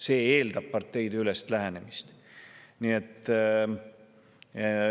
See eeldab parteideülest lähenemist.